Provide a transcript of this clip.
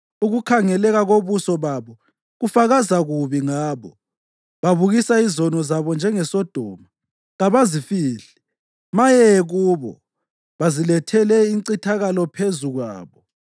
Ukukhangeleka kobuso babo kufakaza kubi ngabo; babukisa izono zabo njengeSodoma; kabazifihli. Maye kubo! Bazilethele incithakalo phezu kwabo.